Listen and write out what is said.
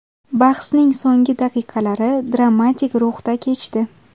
Bahsning so‘nggi daqiqalari dramatik ruhda kechdi.